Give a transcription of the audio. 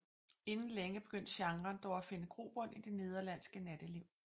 Inden længe begyndte genren dog at finde grobund i det nederlandske natteliv